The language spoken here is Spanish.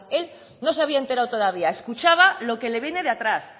él no se había enterado todavía escuchaba lo que le viene de atrás